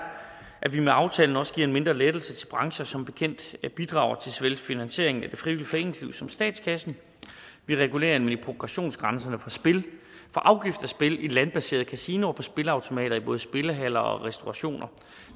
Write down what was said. at vi med aftalen også giver en mindre lettelse til brancher der som bekendt bidrager til såvel finansiering af det frivillige foreningsliv som til statskassen vi regulerer nemlig progressionsgrænsen for afgift af spil i landbaserede kasinoer på spilleautomater i både spillehaller og restaurationer